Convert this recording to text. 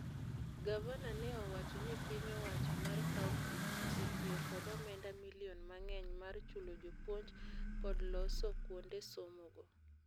Gavana ne owacho ni piny owacho mar kaunti osetio kod omenda milion mangeny mar chulo jopuonj kod loso kuonde somo go.